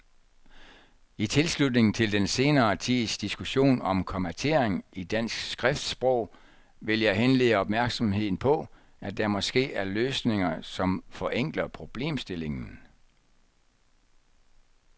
I tilslutning til den senere tids diskussion om kommatering i dansk skriftsprog vil jeg henlede opmærksomheden på, at der måske er løsninger, som forenkler problemstillingen.